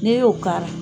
N'e y'o k'a la